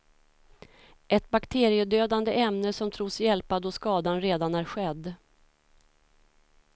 Ett bakteriedödande ämne som tros hjälpa då skadan redan är skedd.